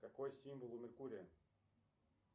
какой символ у меркурия